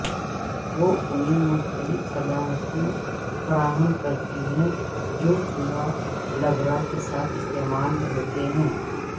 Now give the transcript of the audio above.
وہ انہیں مختلف صلاحیتیں فراہم کرتی ہیں جو چوہا لبرہ کے ذریعہ استعمال ہوتے ہیں